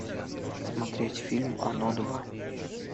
смотреть фильм оно два